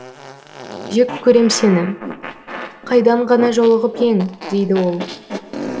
жек көрем сені қайдан ғана жолығып ең дейді ол